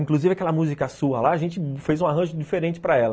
Inclusive aquela música sua lá, a gente fez um arranjo diferente para ela.